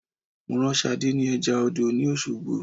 Mo rán Sadé ni eja odò ni Osogbo